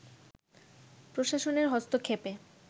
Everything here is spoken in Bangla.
প্রশাসনের হস্তক্ষেপে